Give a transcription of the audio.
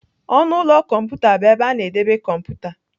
ọnụ ụlọ kọmputa bụ ebe a na-edebe kọmputa.